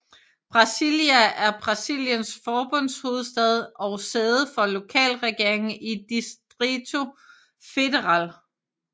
Brasília er Brasiliens forbundshovedstad og sæde for lokalregeringen i Distrito Federal